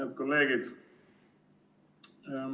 Head kolleegid!